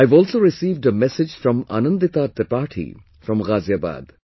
I have also received a message from Anandita Tripathi from Ghaziabad